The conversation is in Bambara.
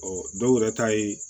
dɔw yɛrɛ ta ye